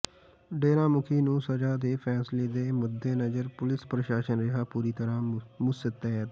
ਡੇਰਾ ਮੁਖੀ ਨੂੰ ਸਜ਼ਾ ਦੇ ਫ਼ੈਸਲੇ ਦੇ ਮੱਦੇਨਜ਼ਰ ਪੁਲਿਸ ਪ੍ਰਸ਼ਾਸਨ ਰਿਹਾ ਪੂਰੀ ਤਰ੍ਹਾਂ ਮੁਸਤੈਦ